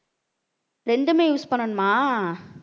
ரெண்டுமே use பண்ணனுமா